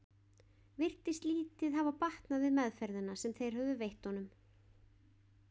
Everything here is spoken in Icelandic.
Virtist lítið hafa batnað við meðferðina sem þeir höfðu veitt honum.